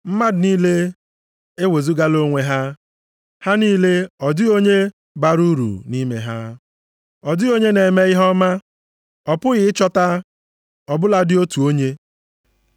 Mmadụ niile ewezugala onwe ha, ha niile, ọ dịghị onye bara uru nʼime ha. Ọ dịghị onye na-eme ihe ọma, a pụghị ịchọta ọ bụladị otu onye. + 3:12 \+xt Abụ 14:1-3; 53:1-3; Ekl 7:20\+xt*